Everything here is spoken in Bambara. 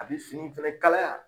A bi finiw fɛnɛ kalaya